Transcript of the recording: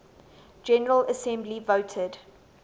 general assembly voted